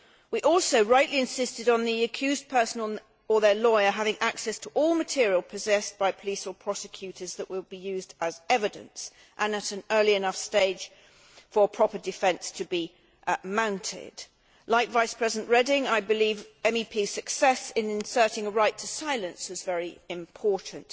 We also rightly insisted on the accused person or their lawyer having access to all material possessed by police or prosecutors that will be used as evidence, and at an early enough stage for a proper defence to be mounted. Like Vice President Reding, I believe MEPs' success in inserting a right to silence is very important.